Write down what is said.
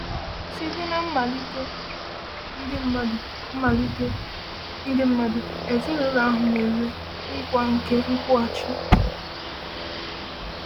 “Site na mmalite, ndị mmadụ mmalite, ndị mmadụ ezinụlọ ahụ nwere nkwa nke nkwụghachi.”